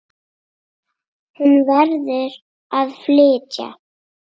Hún verður að flytja.